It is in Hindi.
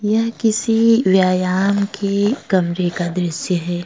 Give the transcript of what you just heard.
यह किसी व्यायाम के कमरे का दृश्य है।